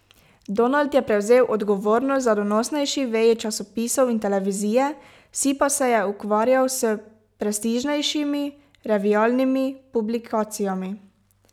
Donald je prevzel odgovornost za donosnejši veji časopisov in televizije, Si pa se je ukvarjal s prestižnejšimi revialnimi publikacijami.